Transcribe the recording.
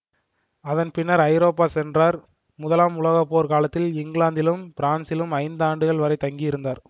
அதன் பின்னர் ஐரோப்பா சென்றார் முதலாம் உலக போர்க் காலத்தில் இங்கிலாந்திலும் பிரான்சிலும் ஐந்தாண்டுகள் வரை தங்கியிருந்தார்